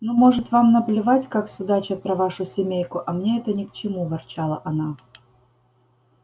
ну может вам наплевать как судачат про вашу семейку а мне это ни к чему ворчала она